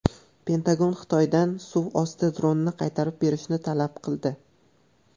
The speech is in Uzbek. Pentagon Xitoydan suv osti dronini qaytarib berishni talab qildi.